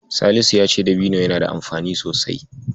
Salisu ya ce dabino yana da amfani sosai.